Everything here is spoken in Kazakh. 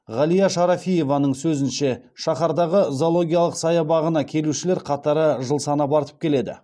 ғалия шарафиеваның сөзінше шаһардағы зоологиялық саябағына келушілер қатары жыл санап артып келеді